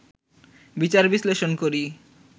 বিচার-বিশ্লেষণ করি